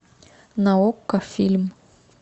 на окко фильм